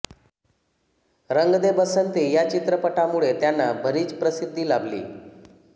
रंग दे बसंती या चित्रपटामुळे त्यांना बरीच प्रसिद्धी लाभली